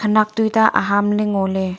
khanak tuita aham lay ngolay.